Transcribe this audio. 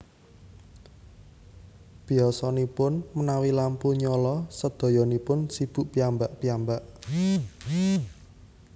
Biyasanipun menawi lampu nyala sedayanipun sibuk piyambak piyambak